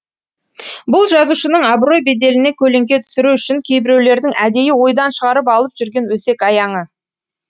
бұл жазушының абырой беделіне көлеңке түсіру үшін кейбіреулердің әдейі ойдан шығарып алып жүрген өсек аяңы